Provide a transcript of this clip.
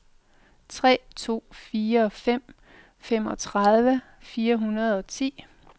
tre to fire fem femogtredive fire hundrede og ti